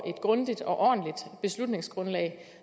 et grundigt og ordentligt beslutningsgrundlag